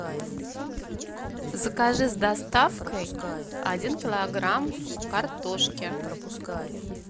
закажи с доставкой один килограмм картошки